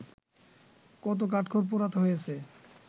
কত কাঠখড় পোড়াতে হয়েছে